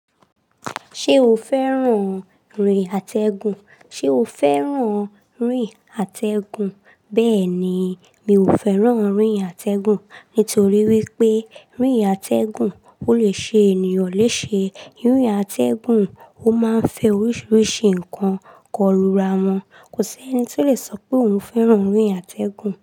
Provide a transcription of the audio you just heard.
Ṣé o fẹ́ràn orin àtẹgùn? Ṣé o fẹ́ràn orin àtẹgùn? Bẹ́ẹ̀ni mọ fẹ́ràn orin àtẹgùn. Nítorí wípé rìn àtẹgùn ò lé ṣe ènìyàn léṣe. Orin àtẹgùn ó máa ń fẹ oríṣiríṣi nǹkan kò lù rà wọn. Kò sí ẹni tó lè sọ pé òun fẹ́ràn orín àtẹgùn.